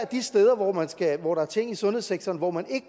de steder i sundhedssektoren hvor man ikke